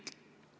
Proua minister!